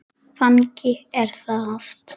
Þannig er það oft.